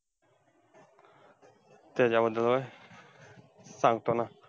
त्याच्याबद्दल होय? सांगतो ना.